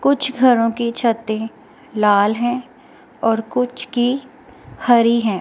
कुछ घरों की छतें लाल हैं और कुछ की हरी हैं।